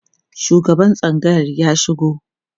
shugaban tsangayar ya shigo